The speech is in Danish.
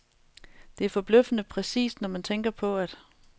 Det er forbløffende præcist, når man tænker på, at